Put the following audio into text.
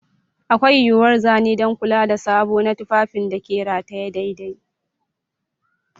Akwai yuwuwar zane don kula da sabo na tufafin da ke rataye daidai.